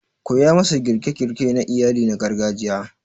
koya masa girke-girke na iyali na gargajiya